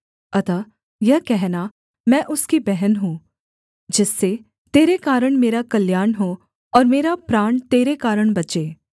अतः यह कहना मैं उसकी बहन हूँ जिससे तेरे कारण मेरा कल्याण हो और मेरा प्राण तेरे कारण बचे